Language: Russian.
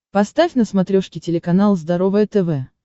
поставь на смотрешке телеканал здоровое тв